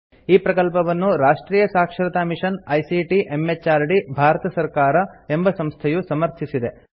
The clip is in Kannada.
ಈ ಪ್ರಕಲ್ಪವನ್ನು ರಾಷ್ಟ್ರಿಯ ಸಾಕ್ಷರತಾ ಮಿಷನ್ ಐಸಿಟಿ ಎಂಎಚಆರ್ಡಿ ಭಾರತ ಸರ್ಕಾರ ಎಂಬ ಸಂಸ್ಥೆಯು ಸಮರ್ಥಿಸಿದೆ